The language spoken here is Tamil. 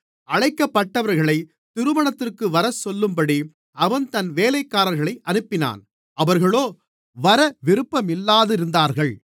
அழைக்கப்பட்டவர்களைத் திருமணத்திற்கு வரச்சொல்லும்படி அவன் தன் வேலைக்காரர்களை அனுப்பினான் அவர்களோ வர விருப்பமில்லாதிருந்தார்கள்